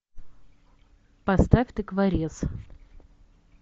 поставь тыкворез